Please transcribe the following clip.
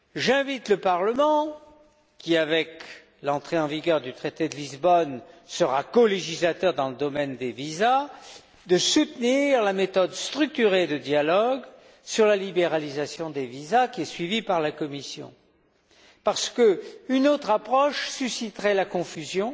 J'invite le Parlement, qui, avec l'entrée en vigueur du traité de Lisbonne sera colégislateur dans le domaine des visas, à soutenir la méthode structurée de dialogue sur la libéralisation des visas qui est suivie par la Commission, parce qu'une autre approche susciterait la confusion